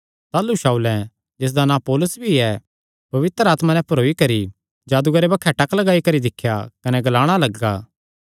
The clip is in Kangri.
ताह़लू शाऊलें जिसदा नां पौलुस भी ऐ पवित्र आत्मा नैं भरोई करी जादूगरे बक्खे टक लगाई करी दिख्या कने ग्लाणा लग्गा